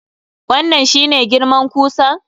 Wannan shi ne girman kusan?